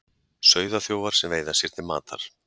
Sauðaþjófar sem veiða sér til matar